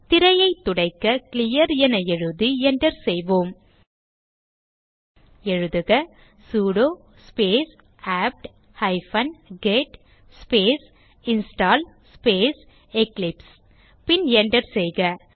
திரையை துடைக்க கிளியர் என எழுதி enter செய்வோம் எழுதுக sudo space apt hyphen get space install space Eclipse பின் enter செய்க